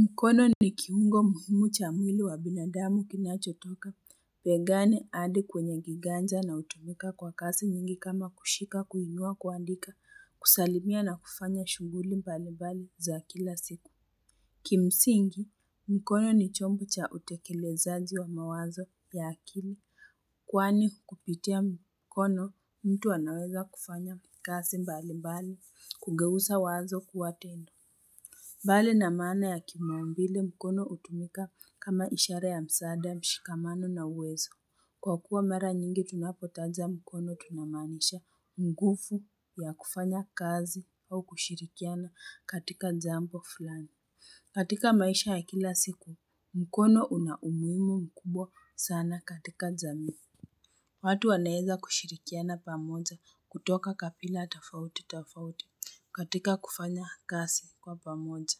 Mkono ni kiungo muhimu cha mwili wa binadamu kinacho toka, pegani adi kwenye giganja na utumika kwa kasi nyingi kama kushika kuhinua kuandika, kusalimia na kufanya shunguli mbali mbali za kila siku. Kimsingi, mkono ni chombo cha utekelezaji wa mawazo ya akili, kwani, kupitia mkono mtu anaweza kufanya kasi mbali mbali, kugeusa wazo kuwatendo. Bale na maana ya kimaumbile mkono utumika kama ishara ya msaada mshikamano na uwezo. Kwa kuwa mara nyingi tunapotanja mkono tunamaanisha mgufu ya kufanya kazi au kushirikiana katika jambo fulani. Katika maisha ya kila siku, mkono unaumuhimu mkubwa sana katika jamii. Watu wanaeza kushirikiana pamoja. Kutoka kapila tafauti tafauti. Katika kufanya kasi kwa pamoja.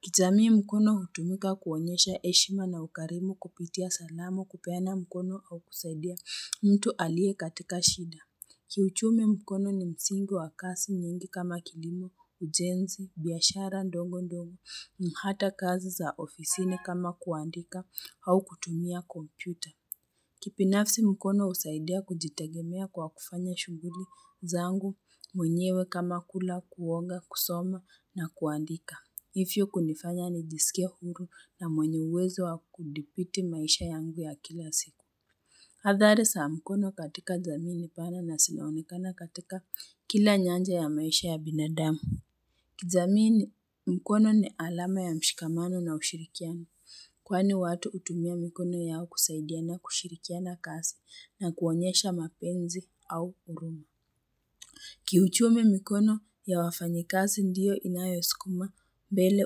Kijamii mkono hutumika kuonyesha eshima na ukarimu kupitia salamu, kupaena mkono au kusaidia mtu alie katika shida. Kiuchumi, mkono ni msingi wa kasi nyingi kama kilimo, ujenzi, biashara ndongo ndongo, na hata kazi za ofisine kama kuandika au kutumia Kompyuta. Kipinafsi mkono husaidia kujitegemea kwa kufanya shughuli zangu, mwenyewe kama kula, kuoga, kusoma na kuandika. Ifyo kunifanya nijisikie huru na mwenye uwezo wa kudipiti maisha yangu ya kila siku. Hadhari sa mkono katika jamii ni pana na sinaonekana katika kila nyanja ya maisha ya binadamu. Kijamii ni mkono ni alama ya mshikamano na ushirikiano. Kwani watu utumia mkono yao kusaidiana kushirikiana kasi na kuonyesha mapenzi au uruma. Kiuchumi mikono ya wafanyikasi ndiyo inayoskuma mbele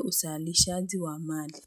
usaalishaji wa mali.